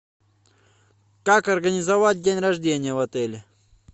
как организовать день рождение в отеле